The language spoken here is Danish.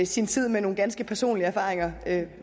sin tid med nogle ganske personlige erfaringer